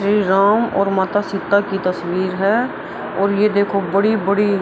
श्री राम और माता सीता की तस्वीर है और ये देखो बड़ी-बड़ी --